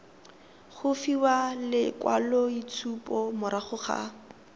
go fiwa lekwaloitshupo morago ga